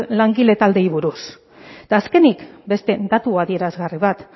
langile taldeei buruz eta azkenik beste datu adierazgarri bat